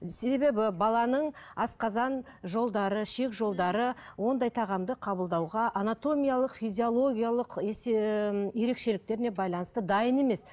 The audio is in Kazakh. себебі баланың асқазан жолдары ішек жолдары ондай тағамды қабылдауға анатомиялық физиологиялық ерекшеліктеріне байланысты дайын емес